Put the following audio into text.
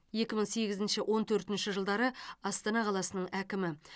екі мың сегізінші он төртінші жылдары астана қаласының әкімі